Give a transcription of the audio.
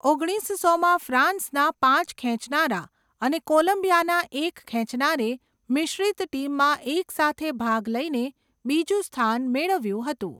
ઓગણીસસોમાં , ફ્રાન્સના પાંચ ખેંચનારા અને કોલંબિયાના એક ખેંચનારે મિશ્રિત ટીમમાં એકસાથે ભાગ લઈને બીજું સ્થાન મેળવ્યું હતું.